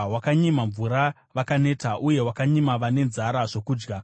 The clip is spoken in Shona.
Wakanyima mvura vakaneta uye wakanyima vane nzara zvokudya,